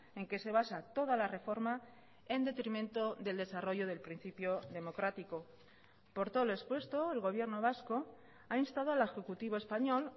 en que se basa toda la reforma en detrimento del desarrollo del principio democrático por todo lo expuesto el gobierno vasco ha instado al ejecutivo español